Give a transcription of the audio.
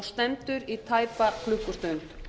stendur í tæpa klukkustund